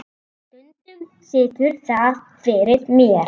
Stundum situr það fyrir mér.